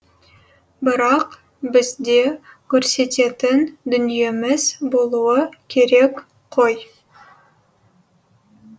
бірақ бізде көрсететін дүниеміз болуы керек қой